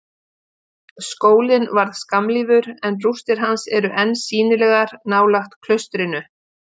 Skólinn varð skammlífur, en rústir hans eru enn sýnilegar nálægt klaustrinu.